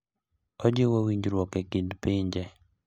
Ojiwo winjruok e kind pinje.